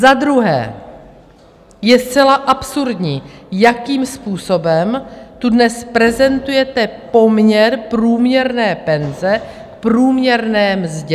Za druhé je zcela absurdní, jakým způsobem tu dnes prezentujete poměr průměrné penze k průměrné mzdě.